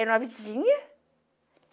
Era uma vizinha.